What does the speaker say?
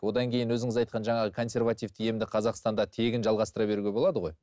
одан кейін өзіңіз айтқан жаңағы консервативті емді қазақстанда тегін жалғастыра беруге болады ғой